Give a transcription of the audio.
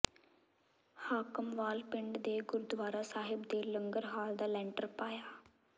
ਹਾਕਮਵਾਲ ਪਿੰਡ ਦੇ ਗੁਰਦੁਆਰਾ ਸਾਹਿਬ ਦੇ ਲੰਗਰ ਹਾਲ ਦਾ ਲੈਂਟਰ ਪਾਇਆ